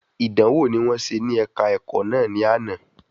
Ìdánwò ní wọ́n ṣe ní ẹ̀ka ẹ̀kọ́ náà ní àná